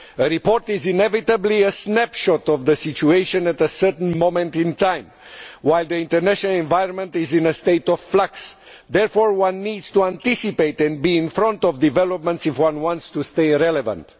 The report is inevitably a snapshot of the situation at a certain moment in time, while the international environment is in a state of flux. Therefore one needs to anticipate and be in front of developments if one wants to stay relevant.